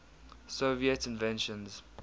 soviet inventions